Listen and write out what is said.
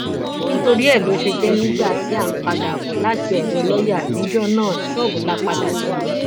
nítorí ẹ ló ṣe jẹ nígbà tí à ń padà bọ láti odò lọọyà níjọ náà ṣọọbù la padà sí